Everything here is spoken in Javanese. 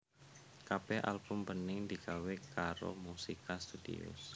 Kabéh album Bening digawé karo Musica Studios